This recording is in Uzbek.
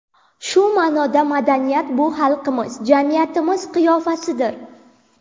Shu ma’noda, madaniyat – bu xalqimiz, jamiyatimiz qiyofasidir.